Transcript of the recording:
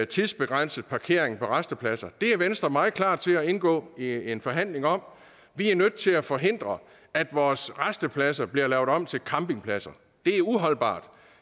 tidsbegrænset parkering på rastepladser det er venstre meget klar til at indgå i en forhandling om vi er nødt til at forhindre at vores rastepladser bliver lavet om til campingpladser det er uholdbart